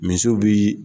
Misiw bii